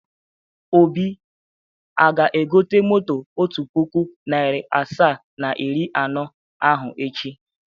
Obi aga-egote moto otu puku, narị asaa na iri anọ ahụ echi?